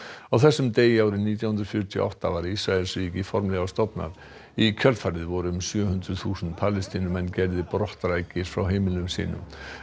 á þessum degi árið nítján hundruð fjörutíu og átta var Ísraelsríki formlega stofnað í kjölfarið voru um sjö hundruð þúsund Palestínumenn gerðir frá heimilum sínum